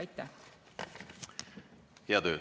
Aitäh!